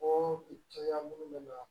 O cogoya minnu bɛ na